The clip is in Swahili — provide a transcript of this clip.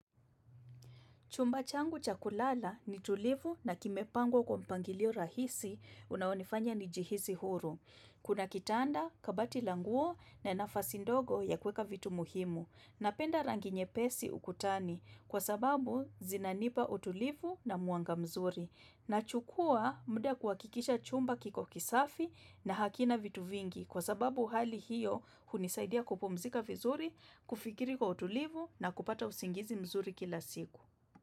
Chumba changu cha kulala ni tulivu na kimepangwa kwa mpangilio rahisi unaonifanya nijihisi huru. Kuna kitanda kabati la nguo na nafasi ndogo ya kuweka vitu muhimu. Napenda rangi nyepesi ukutani kwa sababu zinanipa utulivu na mwanga mzuri. Nachukua muda kuhakikisha chumba kiko kisafi na hakina vitu vingi kwa sababu hali hiyo hunisaidia kupumzika vizuri, kufikiri kwa utulivu na kupata usingizi mzuri kila siku.